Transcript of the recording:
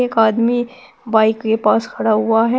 एक आदमी बाइक के पास पड़ा हुआ है।